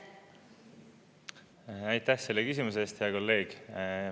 Aitäh selle küsimuse eest, hea kolleeg!